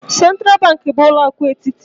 Sentral banki bu ulo akụ etiti.